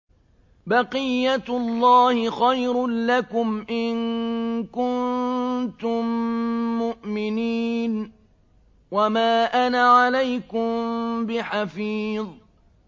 بَقِيَّتُ اللَّهِ خَيْرٌ لَّكُمْ إِن كُنتُم مُّؤْمِنِينَ ۚ وَمَا أَنَا عَلَيْكُم بِحَفِيظٍ